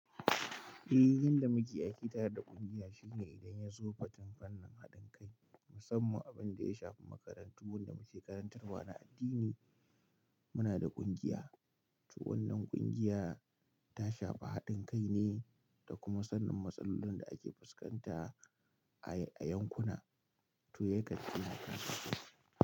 Eh, yanda muke aiki tare da kungiya shine idan ya zo fadin fannin haɗin kai, musamman abin da ya shafi makarantu wanda muke karantarwa na addini, muna da kungiya. To wannan kungiya ta shafa haɗin kai ne da kuma sannin matsalolin da ake fuskanta a, a yankuna to ya ga ƙila kasancewa.